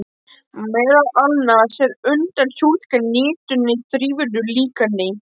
Meðal annars er unnt að túlka niðurstöðurnar í þrívíðu líkani.